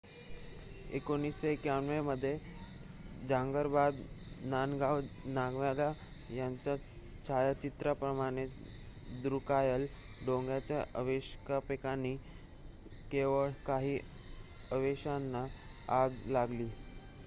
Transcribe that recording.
1951 मध्ये झाबद्रंग नगावांग नामग्याल यांच्या छायाचित्राप्रमाणेच द्रुक्याल डोंगॉंगच्या अवशेषांपैकी केवळ काही अवशेषांना आग लागली